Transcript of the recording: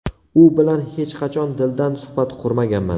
U bilan hech qachon dildan suhbat qurmaganman.